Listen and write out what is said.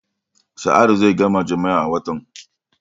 Sa'adu zai gama jami'a a watan.